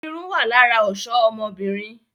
Irun wá lára ọ̀ṣọ ọmọbìnrin